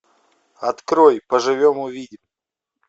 открой поживем увидим